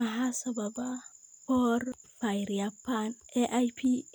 Maxaa sababa porphyria ba'an (AIP)?